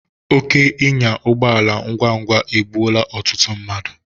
Oke ịnya ụgbọala ngwa ngwa egbụola ọtụtụ mmadu